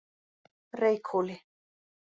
Reykhóli